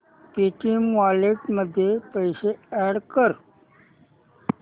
Paytm wallet मध्ये पैसे add कर